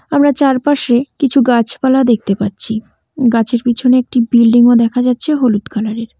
আমরা চারপাশে কিছু গাছপালা দেখতে পাচ্ছি গাছের পিছনে একটি বিল্ডিংও দেখা যাচ্ছে হলুদ কালারের ।